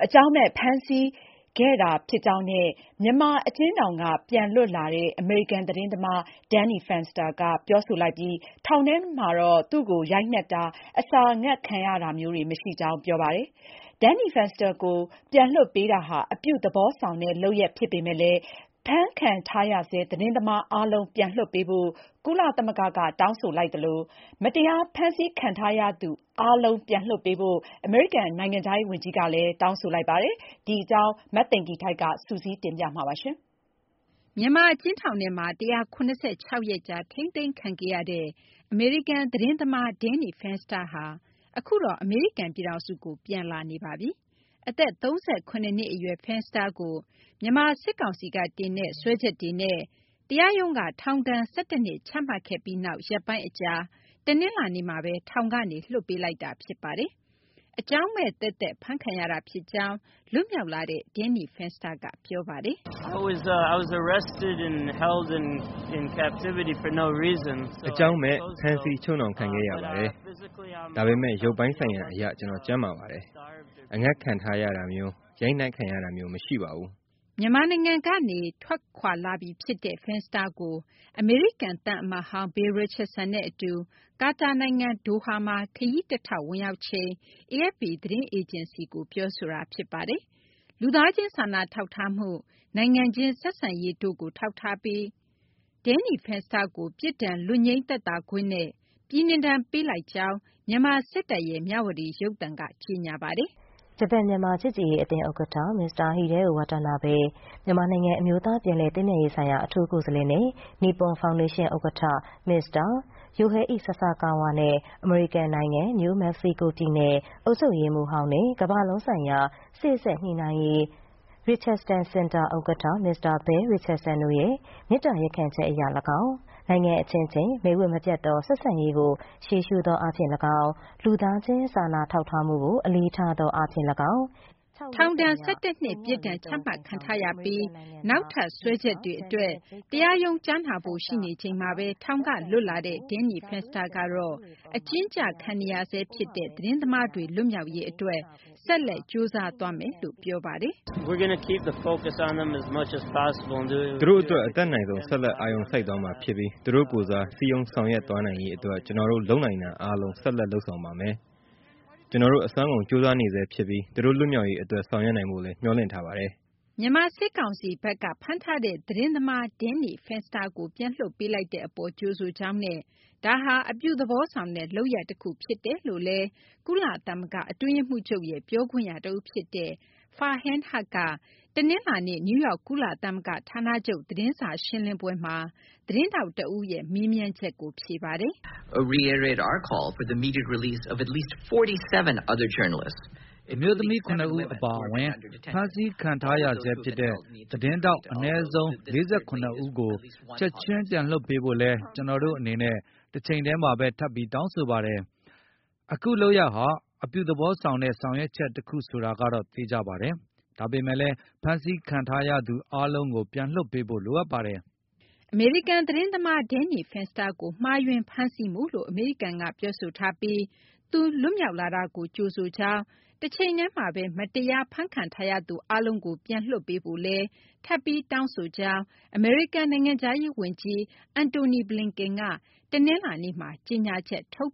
အကြောင်းမဲ့ ဖမ်းဆီးခံခဲ့ရတာ ဖြစ်ကြောင်း မြန်မာ အကျဉ်းထောင်က ပြန်လွတ်လာတဲ့ အမေရိကန် သတင်းသမား Danny Fenster က ပြောဆိုလိုက်ပြီး ထောင်ထဲမှာတော့ သူ့ကို ရိုက်နှက်တာ၊ အစာငတ်ခံရတာမျိုးတွေ မရှိကြောင်း ပြောပါတယ်။ Danny Fenster ကို ပြန်လွှတ်ပေးတာဟာ အပြုသဘောဆောင်တဲ့ လုပ်ရပ် ဖြစ်ပေမယ့်လည်း ဖမ်းခံထားရဆဲ သတင်းသမား အားလုံး ပြန်လွှတ်ပေးဖို့ ကုလသမဂ္ဂက တောင်းဆိုလိုက်သလို မတရား ဖမ်းခံထားရသူ အားလုံး ပြန်လွှတ်ပေးဖို့ အမေရိကန် နိုင်ငံခြားရေး ဝန်ကြီးကလည်း ထပ်မံ တောင်းဆိုလိုက်ပါတယ်။ မသိင်္ဂ ီထိုက် ပြောပြပေးပါမယ်။ မြန်မာ အကျဉ်းထောင်ထဲမှာ ၁၇၆ ရက်ကြာ ထိန်းသိမ်းခံခဲ့ရတဲ့ အမေရိကန် သတင်းထောက် Danny Fenster ဟာ အခုတော့ အမေရိကန် ပြည်ထောင်စုကို ထွက်ခွာလာပါပြီ။ အသက် ၃၇ နှစ် အရွယ် Fenster ကို မြန်မာ စစ်ကောင်စီက တင်တဲ့ စွဲချက်တွေနဲ့ တရားရုံးက ထောင်ဒဏ် ၁၁ နှစ် ချမှတ်ခဲ့ပြီးနောက် ရက်ပိုင်း အကြာ တနလာၤနေ့မှာဘဲ ထောင်ကနေ လွှတ်ပေးလိုက်တာ ဖြစ်ပါတယ်။ အကြောင်းမဲ့ သက်သက် ဖမ်းခံရတာ ဖြစ်ကြောင်း လွတ်မြောက်လာတဲ့ Danny Fenster က ပြောပါတယ်။ " အကြောင်းမဲ့ ဖမ်းဆီး ချုပ်နှောင်ခံခဲ့ရပါတယ်။ ဒါပေမယ့် ရုပ်ပိုင်းဆိုင်ရာ အရ ကျနော် ကျန်းမာပါတယ်။ အငတ်ထားခံရတာမျိုး ရိုက်နှက်ခံရတာမျိုး မရှိပါဘူး။ " မြန်မာနိုင်ငံကနေ အမေရိကန်ကို ထွက်လာနေပြီ ဖြစ်တဲ့ Fenster ကို အမေရိကန် သံအမတ်ဟောင်း Bill Richardson အတူ ကာတာနိုင်ငံ ဒိုဟာမှာ ခရီးတထောက် ဝင်ရောက်ချိန်မှာ AFP သတင်းအေဂျင်စီကို ပြောဆိုခဲ့တာ ဖြစ်ပါတယ်။ လူသားချင်းစာနာထောက်ထားမှု၊ နိုင်ငံချင်း ဆက်ဆံရေးတို့ကို ထောက်ထားပြီး Danny Fenster ကို ပြစ်ဒဏ် လွတ်ငြိမ်းသက်သာခွင့်နဲ့ ပြည်နှင်ဒဏ် ပေးလိုက်ကြောင်း မြန်မာ စစ်တပ်ရဲ့ မြဝတီ ရုပ်သံက ကြေညာသွားပါတယ်။ “ ဂျပန် - မြန်မာ ချစ်ကြည်ရေး အသင်း ဥက္ကဌ မစ္စတာ Hideo Watanabe၊ မြန်မာနိုင်ငံ အမျိုးသား ပြန်လည် သင့်မြတ်ရေး အထူးကိုယ်စားလှယ်နဲ့ နိပွန် ဖောင်ဒေးရှင်း ဥက္ကဌ မစ္စတာ Yohei Sasakawa နဲ့ အမေရိကန် နိုင်ငံ နယူး မက္ကဆီကို ပြည်နယ် အုပ်ချုပ်ရေးမှူးဟောင်းနဲ့ ကမ ္ဘာလုံးဆိုင်ရာ စေ့စပ်ညှိနှိုင်းရေး Richardson စင်တာ ဥက္ကဌ မစ္စတာ Bill Richardson တို့ရဲ့ မေတ္တာ ရပ်ခံချက် အရ လည်းကောင်း၊ နိုင်ငံ အချင်းချင်း မိတ်ဝတ် မပျက်သော ဆက်ဆံရေးကို ရှေ့ရှုသော အားဖြင့် လည်းကောင်း၊ လူသားချင်း စာနာမှုကို အလေးထားသော အားဖြင့် လည်းကောင်း …” ထောင်ဒဏ် ၁၁ နှစ် ပြစ်ဒဏ်ချမှတ်ခံထားရပြီး နောက်ထပ် စွဲချက်တွေ အတွက် တရားရုံး ကြားနာဖို့ ရှိနေချိန်မှာဘဲ ထောင်က လွတ်လာတဲ့ Danny Fenster ကတော့ အကျဉ်းကျခံနေရဆဲ ဖြစ်တဲ့ သတင်းသမားတွေ လွတ်မြောက်ရေး အတွက် ဆက်လက် ကြိုးစားသွားမယ်လို့ ပြောပါတယ်။ " သူတို့ အတွက် အတတ်နိုင်ဆုံး ဆက်လက် အာရုံစိုက်သွားမှာ ဖြစ်ပြီး သူတို့ကိုယ်စား စည်းရုံး ဆောင်ရွက်သွားနိုင်ရေး အတွက် ကျနော်တို့ လုပ်နိုင်တာ အားလုံး ဆက်လက် လုပ်ဆောင်ပါမယ်။ ကျနော်တို့ အစွမ်းကုန် ကြိုးစားနေဆဲ ဖြစ်ပြီး သူတို့ လွတ်မြောက်ရေး အတွက် ဆောင်ရွက်နိုင်ဖို့လည်း မျှော်လင့်ထားပါတယ်။ " မြန်မာ စစ်ကောင်စီဘက်က ဖမ်းဆီးထားတဲ့ သတင်းသမား Danny Fenster ကို ပြန်လွှတ်ပေးလိုက်တဲ့ အပေါ် ကြိုဆိုကြောင်းနဲ့ ဒါဟာ အပြုသဘောဆောင်တဲ့ လုပ်ရပ် တခုဖြစ်တယ်လို့လည်း ကုလသမဂ္ဂ အတွင်းရေးမှူးချုပ်ရဲ့ ပြောခွင့်ရ တဦး ဖြစ်သူ Farhan Haq က တနလာၤနေ့ နယူးယောက် ကုလသမဂ္ဂ ဌာနချုပ် သတင်းစာ ရှင်းလင်းပွဲမှာ သတင်းထောက် တဦးရဲ့ မေးမြန်းချက်ကို ဖြေကြားခဲ့ပါတယ်။ " အမျိုးသမီး ၇ ဦး အပါအဝင် ဖမ်းခံထားရဆဲ ဖြစ်တဲ့ သတင်းထောက် အနည်းဆုံး ၄၇ ဦးကို ချက်ချင်း ပြန်လွှတ်ပေးဖို့လည်း ကျနော်တို့ အနေနဲ့ တချိန်တည်းမှာဘဲ ထပ်ပြီး တောင်းဆိုပါတယ်။ အခု လုပ်ရပ်ဟာ အပြုသဘောဆောင်တဲ့ ဆောင်ရွက်ချက် တခု ဆိုတာကတော့ အသေအချာပါ။ ဒါပေမယ့်လည်း ဖမ်းခံထားရသူ အားလုံးကို ပြန်လွှတ်ပေးဖို့ လိုအပ်ပါတယ်။ " အမေရိကန် သတင်းသမား Danny Fenster ကို မှားယွင်း ဖမ်းဆီးမှုလို့ အမေရိကန်က ပြောဆိုထားပြီး သူ လွတ်မြောက်လာတာကို ကြိုဆိုလိုက်ပြီး တချိန်တည်းမှာဘဲ မတရား ဖမ်းဆီးခံထားရသူတွေ အားလုံးကို ပြန်လွှတ်ပေးဖို့လည်း ထပ်ပြီး တောင်းဆိုကြောင်း အမေရိကန် နိုင်ငံခြားရေး ဝန်ကြီး Antony Blinken က တနလာၤနေ့မှာ ကြေညာချက် ထုတ်